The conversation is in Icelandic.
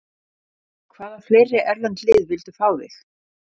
Hvaða fleiri erlend lið vildu fá þig?